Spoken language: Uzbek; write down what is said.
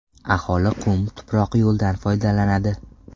Aholi qum-tuproq yo‘ldan foydalanadi.